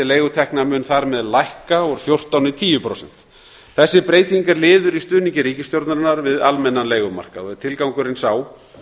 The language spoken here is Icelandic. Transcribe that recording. leigutekna mun þar með lækka úr fjórtán prósentum í tíu prósent þessi breyting er liður í stuðningi ríkisstjórnarinnar við almennan leigumarkað og er tilgangurinn sá